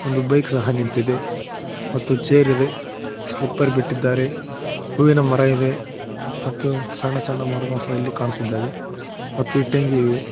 ಒಂದು ಬೈಕ್ ಸಹ ನಿಂತಿದೆ ಮತ್ತು ಚೇರ್ ಇದೆ ಸ್ಲಿಪ್ಪರ್ ಬಿಟ್ಟಿದ್ದಾರೆ ಹೂವಿನ ಮರ ಇದೆ ಮತ್ತು ಸಣ್ಣ ಸಣ್ಣ ಮರಗಳು ಸಹ ಇಲ್ಲಿ ಕಾಣ್ತಿದ್ದಾವೆ ಮತ್ತು ಇಟ್ಟಂಗಿ ಇವೆ.